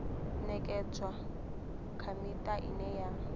ṅekedzwa kha miṱa ine ya